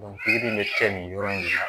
pikiri in bɛ kɛ nin yɔrɔ in de la